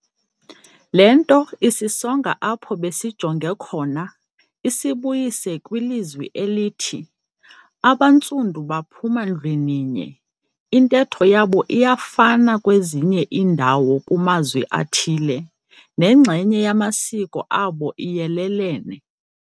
Le nto isisonga apho besijonge khona, isibuyise kwilizwi elithi, "AbaNtsundu baphuma ndlwininye, intetho yabo iyafana kwezinye iindawo kumazwi athile, nenxenye yamasiko abo iyelelene."